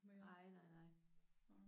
Nej nej nej